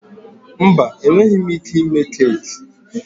Mba, enweghị m ike ime keeki.